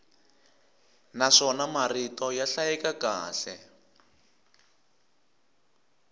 naswona marito ya hlayeka kahle